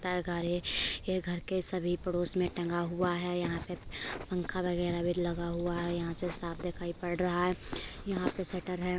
घर है यह घर के सभी पड़ोस में टंगा हुआ है यहाँ पर पंखा वगैरा भी लगा हुआ है यहाँ से साफ दिखाई पड़ रहा है यहाँ पर शटर है।